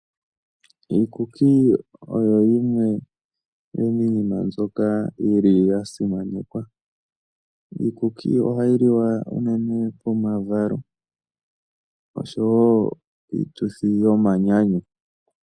Iikuki oyo yimwe yomiinima mbyoka yi li ya simanekwa. Iikuki ohayi liwa unene pomavalo osho wo piituthi yomanyanyu.